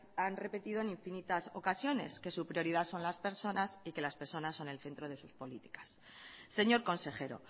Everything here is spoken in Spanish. han repetido en infinitas ocasiones que su prioridad son las personas y que las personas son el centro de sus políticas señor consejero